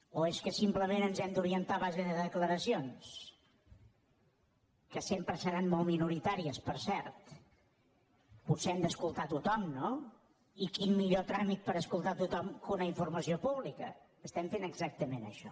o és que simplement ens hem d’orientar a base de declaracions que sempre seran molt minoritàries per cert potser hem d’escoltar tothom no i quin millor tràmit per escoltar tothom que una informació pública fem exactament això